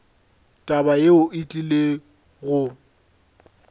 taba yeo e tlile go